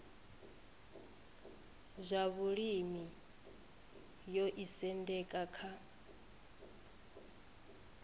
zwa vhulimi yo isendeka kha